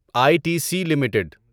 I T C limited